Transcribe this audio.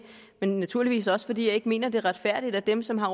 men naturligvis også fordi jeg ikke mener det er retfærdigt at dem som har